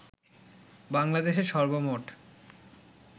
বাংলাদেশে সর্বমোট